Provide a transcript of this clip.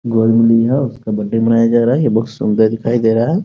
गोद में ली हो उसका बर्थडे मनाया जा रहा है ये बोहोत सुन्दर दिखाई दे रहा है।